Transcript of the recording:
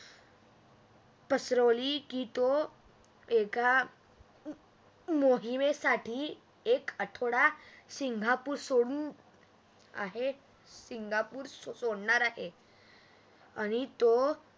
की तो एका मोहिमेसाठी एक आठवडा सिंगापूर सोडून आहे सोडणार आहे आणि तो